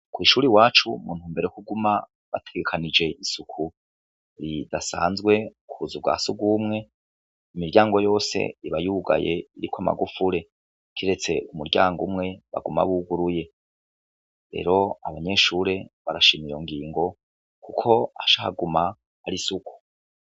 Kw'ishuri iwacu muntumbero yo kuguma bategekanije isuku ridasanzwe k'ubuzu bwa sugumwe, imiryango yose iba yugaye iriko amagufure, kiretse umuryango umwe baguma buguruye, rero abanyeshure barashima iyo ngingo Kuko haca haguma hari isuku.